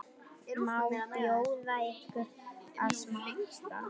Má bjóða ykkur að smakka?